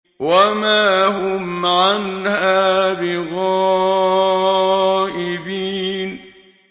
وَمَا هُمْ عَنْهَا بِغَائِبِينَ